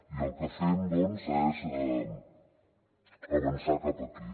i el que fem doncs és avançar cap aquí